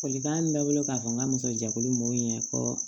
Folikan min bɛ ne bolo k'a fɔ n ka muso jɛkulu m'o ɲɛfɔ